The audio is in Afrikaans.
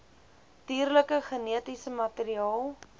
dierlike genetiese materiaal